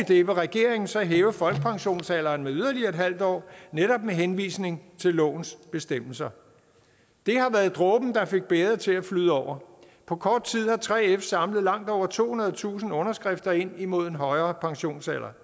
det vil regeringen så hæve folkepensionsalderen med yderligere en halv år netop med henvisning til lovens bestemmelser det har været dråben der fik bægeret til at flyde over på kort tid har 3f samlet langt over tohundredetusind underskrifter ind imod en højere pensionsalder